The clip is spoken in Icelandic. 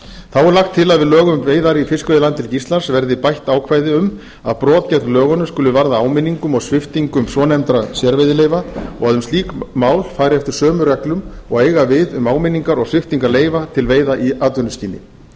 þá er lagt er til að í lög um veiðar í fiskveiðilandhelgi íslands verði bætt ákvæði um að brot gegn lögunum skuli varða áminningum og sviptingum svonefndra sérveiðileyfa og að um slík mál fari eftir sömu reglum og eiga við um áminningar og sviptingar leyfa til veiða í atvinnuskyni